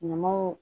Ɲamanw